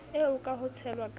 eo ka ho tshelwa ka